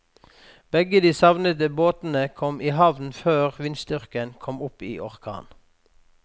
Begge de savnede båtene kom i havn før vindstyrken kom opp i orkan.